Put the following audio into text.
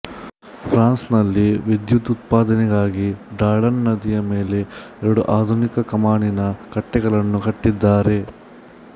ಫ್ರಾನ್ಸಿನಲ್ಲಿ ವಿದ್ಯುದುತ್ಪಾದನೆಗಾಗಿ ಡಾರ್ಡನ್ ನದಿಯ ಮೇಲೆ ಎರಡು ಆಧುನಿಕ ಕಮಾನಿನ ಕಟ್ಟೆಗಳನ್ನು ಕಟ್ಟಿದ್ದಾರೆ